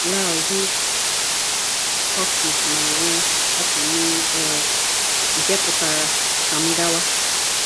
Iau he hoki mai e Rapa Nui ee, ” nke pụtara: “Ka m gawa!